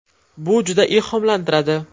Bu juda ilhomlantiradi.